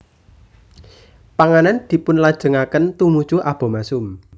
Panganan dipunlajengaken tumuju abomasum